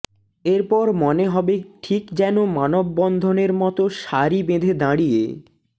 এরপর মনে হবে ঠিক যেনো মানববন্ধনের মতো সারি বেঁধে দাঁড়িয়ে